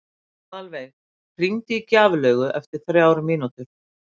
Aðalveig, hringdu í Gjaflaugu eftir þrjár mínútur.